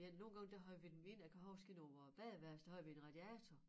Men ja nogle gange der havde vi dem inde jeg kan huske i nogle badeværelse der havde vi en radiator